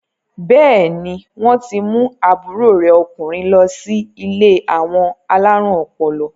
Bẹ́ẹ̀ni, wọ́n ti mú àbúrò rẹ̀ ọkùnrin lọ sí ilé àwọn alárùn ọpọlọ.